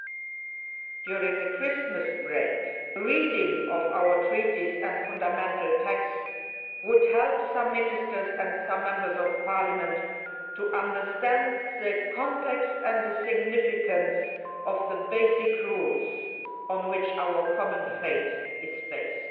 Perhaps, during the Christmas break, reading our treaties and fundamental texts would help some Ministers and some Members of Parliament to understand the context and the significance of the basic rules on which our common fate is based.